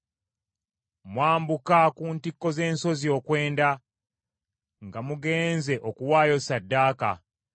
Mwambuka ku ntikko z’ensozi okwenda nga mugenze okuwaayo ssaddaaka.